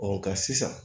nka sisan